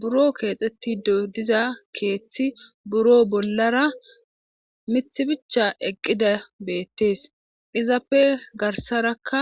buro keexetti dodiza keeththi buro bollara mith bicha eqqida beettees izappe garsarakka